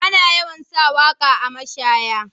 Ana yawan sa waka a mashaya.